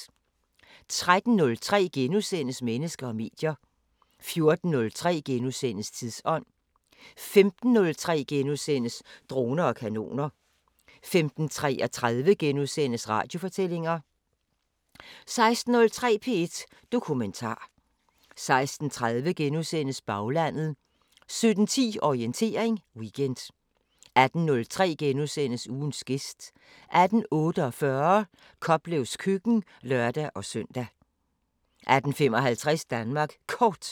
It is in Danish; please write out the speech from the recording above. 13:03: Mennesker og medier * 14:03: Tidsånd * 15:03: Droner og kanoner * 15:33: Radiofortællinger * 16:03: P1 Dokumentar 16:30: Baglandet * 17:10: Orientering Weekend 18:03: Ugens gæst * 18:48: Koplevs køkken (lør-søn) 18:55: Danmark Kort